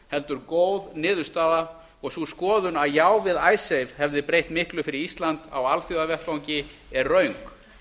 heldur góð niðurstaða og sú skoðun að já við icesave hefði breytt miklu fyrir ísland á alþjóðavettvangi er röng